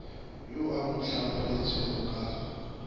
yo a mo hlologetšego ka